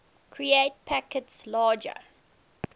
create packets larger